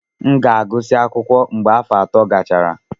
M ga-agụsị akwụkwọ mgbe afọ ato gachara.